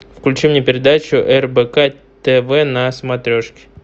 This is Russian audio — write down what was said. включи мне передачу рбк тв на смотрешке